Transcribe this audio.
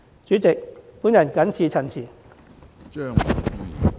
主席，我謹此陳辭。